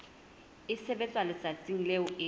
e sebetswa letsatsing leo e